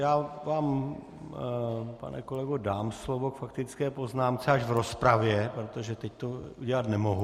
Já vám, pane kolego, dám slovo k faktické poznámce až v rozpravě, protože teď to udělat nemohu.